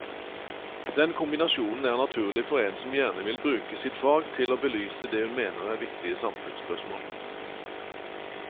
Den kombinasjonen er naturlig for en som gjerne vil bruke sitt fag til å belyse det hun mener er viktige samfunnsspørsmål.